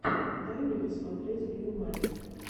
дай мне посмотреть биг мани